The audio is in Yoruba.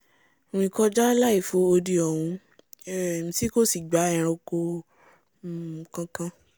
rìn kọjá láì fo odi ọ̀hún um tí kò sì gba eranko um kankan